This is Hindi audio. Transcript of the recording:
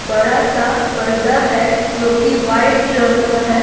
बड़ा सा पर्दा है जो कि वाइट रंग का है।